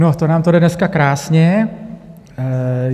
No, to nám to jde dneska krásně.